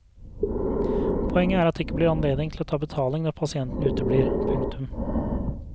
Poenget er at det ikke er anledning til å ta betaling når pasienten uteblir. punktum